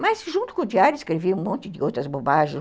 Mas, junto com o diário, escrevi um monte de outras bobagens.